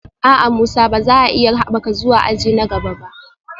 A'a, Musa ba za a iya haɓaka zuwa aji na gaba ba